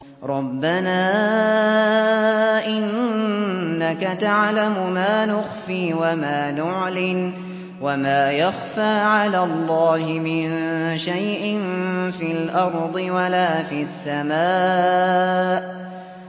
رَبَّنَا إِنَّكَ تَعْلَمُ مَا نُخْفِي وَمَا نُعْلِنُ ۗ وَمَا يَخْفَىٰ عَلَى اللَّهِ مِن شَيْءٍ فِي الْأَرْضِ وَلَا فِي السَّمَاءِ